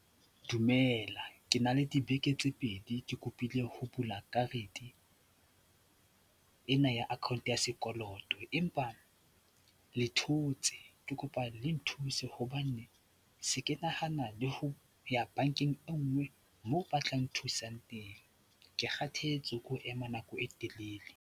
Dumela, ke na le dibeke tse pedi ke kopile ho bula karete ena ya account ya sekoloto empa le thotse. Ke kopa le nthuse hobane se ke nahana le ho ya bankeng e nngwe moo ba tlang nthusang teng. Ke kgathetse ke ho ema nako e telele.